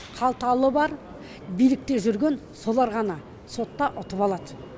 қалталы бар билікте жүрген солар ғана сотта ұтып алады